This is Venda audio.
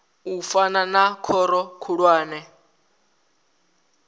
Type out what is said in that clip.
u fana na khoro khulwane